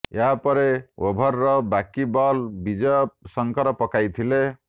ଏହା ପରେ ଓଭରର ବାକି ବଲ୍ ବିଜୟ ଶଙ୍କର ପକାଇଥିଲେ